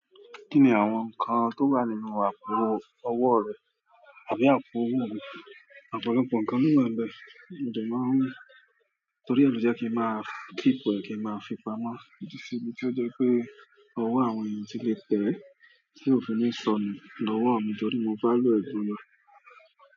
Kí ni àwọn nǹkan tó wà nínú àpò ọwọ́ rẹ àbí àpò owó mi? Ọ̀pọ̀lọpọ̀ nǹkan míì wà nbẹ̀, mo dẹ̀ máa ń, torí ẹ̀ ló jẹ́ kí ń máa keep ẹ̀, kí n máa fi pamọ́. Ó ti sí ibi tí ó jẹ́ pé owó àwọn ènìyàn ti lè tẹ̀ ẹ́ tí ò fi ní sọnù lọ́wọ́ àwọn jọdí, mo bá lò ẹ̀bùn lọ.